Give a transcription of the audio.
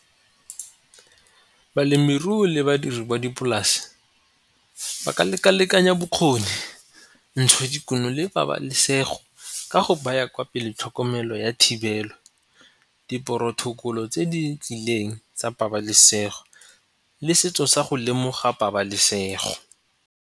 Balemirui le badiri ba dipolase ba ka leka-lekanya bokgoni, ntshodikuno le pabalesego ka go ba ya kwa pele tlhokomelo ya thibelo di porotokolo tse di tlileng tsa pabalesego le setso sa go lemoga pabalesego.